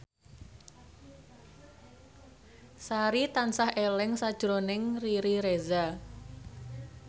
Sari tansah eling sakjroning Riri Reza